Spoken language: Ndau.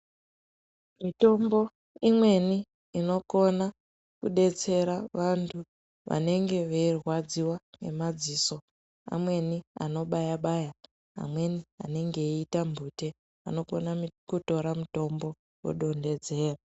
Mitombo imweni inokone kudetsera vanhu vanenge veirwadziwa ngemadziso amweni anobayabaya, amweni anenge eita mhute ,anokona kutora mitombo odonhedzera.